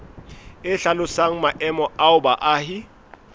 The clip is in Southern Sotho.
e hlalosang maemo ao baahi